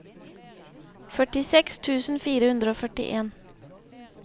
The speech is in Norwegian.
førtiseks tusen fire hundre og førtien